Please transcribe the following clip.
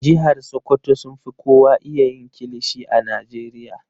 Jihar sokoto sun fi kowa iya yin kilishi a Najeriya.